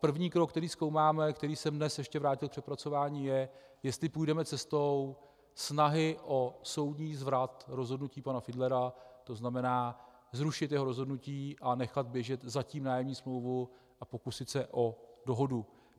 První krok, který zkoumáme a který jsem dnes ještě vrátil k přepracování, je, jestli půjdeme cestou snahy o soudní zvrat rozhodnutí pana Fidlera, to znamená zrušit jeho rozhodnutí a nechat běžet zatím nájemní smlouvu a pokusit se o dohodu.